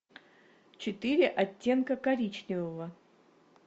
четыре оттенка коричневого